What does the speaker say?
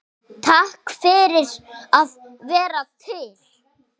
Takk fyrir að vera til.